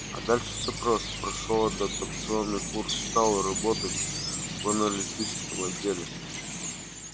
а дальше всё просто прошёл адаптационный курс стал работать в аналитическом отделе